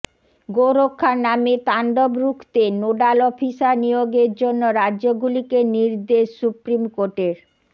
গোরক্ষার নামে তাণ্ডব রুখতে নোডাল অফিসার নিয়োগের জন্য রাজ্যগুলিকে নির্দেশ সুপ্রিম কোর্টের